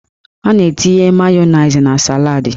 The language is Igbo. A na-etinye mayoniz na saladị